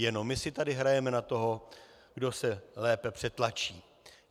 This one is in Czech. Jenom my si tady hrajeme na toho, kdo se lépe přetlačí.